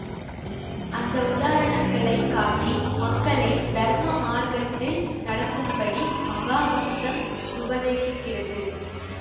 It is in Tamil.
அந்த உதாரணங்களைக் காட்டி மக்களை தர்ம மார்க்கத்தில் நடக்கும்படி மகா வம்சம் உபதேசிக்கிறது